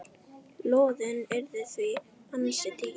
Lóðin yrði því ansi dýr.